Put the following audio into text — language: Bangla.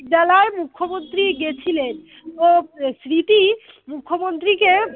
মুখ্যমন্ত্রী গেছিলেন ও স্মৃতি মুখ্যমন্ত্রীকে